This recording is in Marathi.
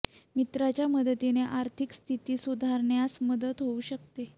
मित्राच्या मदतीने आर्थिक स्थिती सुधारण्यास मदत होऊ शकते